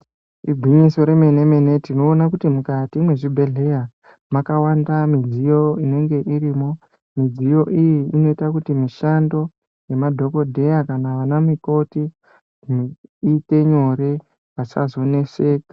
Igwinyiso yemene mene tinoone kuti mukati mezvibhedhleya makawanda midziyo unenge irimo . Midziyo iyi inoita kuti mushando yemadhokoteya kana ana mukoti iite nyore vasazoneseka .